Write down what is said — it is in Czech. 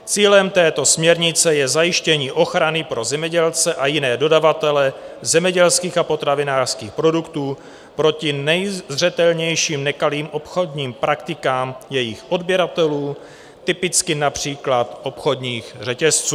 Cílem této směrnice je zajištění ochrany pro zemědělce a jiné dodavatele zemědělských a potravinářských produktů proti nejzřetelnějším nekalým obchodním praktikám jejich odběratelů, typicky například obchodních řetězců.